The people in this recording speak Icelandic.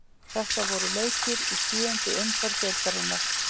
Þetta voru leikir í sjöundu umferð deildarinnar.